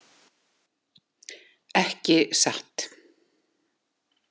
Ekki satt.